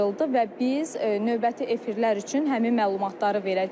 Və biz növbəti efirlər üçün həmin məlumatları verəcəyik.